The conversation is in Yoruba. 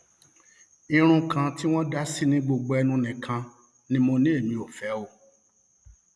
irun kan tí wọn dá sí ní gbogbo ẹnu nìkan ni mo ní èmi ò fẹ o